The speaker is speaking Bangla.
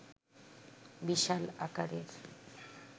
বিশাল আকারের